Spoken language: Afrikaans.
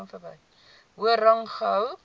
hoër rang gehou